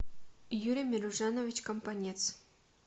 юрий меружанович компанец